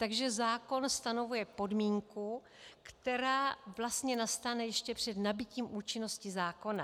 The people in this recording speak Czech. Takže zákon stanovuje podmínku, která vlastně nastane ještě před nabytím účinnosti zákona.